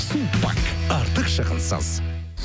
сулпак артық шығынсыз